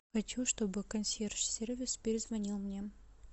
хочу чтобы консьерж сервис перезвонил мне